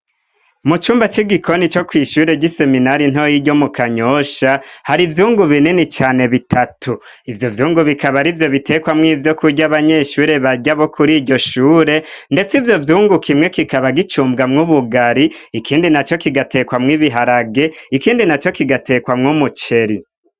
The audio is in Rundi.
Mu cumba c'igikoni co kw'ishure ry'i seminari ntoyiryo mu kanyosha hari ivyungu binini cane bitatu ivyo vyungu bikaba ari vyo bitekwamwo ivyo kurya abanyeshure barya bo kuri iryo shure, ndetse ivyo vyungukimwe kikaba gicumbwamwo ubugari ikindi na co kigatekwamwo ibiharage ikindi na co kigatekwamwo umuceri.